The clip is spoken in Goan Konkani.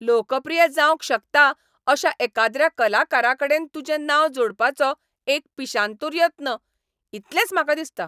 लोकप्रिय जावंक शकता अशा एकाद्र्या कलाकाराकडेन तुजें नांव जोडपाचो एक पिशांतूर यत्न, इतलेंच म्हाका दिसता.